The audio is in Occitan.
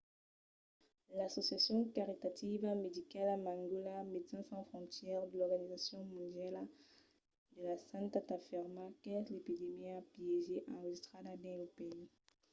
l'associacion caritativa medicala mangola médecins sans frontières e l'organizacion mondiala de la santat afirman qu'es l'epidèmia piéger enregistrada dins lo país